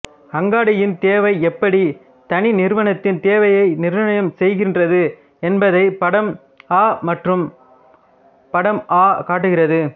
அங்காடியின் தேவை எப்படி தனி நிறுவனத்தின் தேவையை நிர்ணயம் செய்கின்றது என்பதை படம் அ மற்றும் படம் ஆ காட்டுகிறது